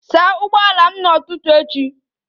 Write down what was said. Saa ụgbọala m n'ụtụtụ echi!